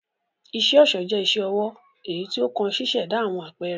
Iṣẹ-ọṣọ jẹ̀ iṣẹ-ọwọ eyí tí o kàn ṣiṣẹda awọn apẹrẹ